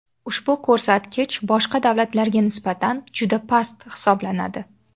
Ushbu ko‘rsatkich boshqa davlatlarga nisbatan juda past hisoblanadi.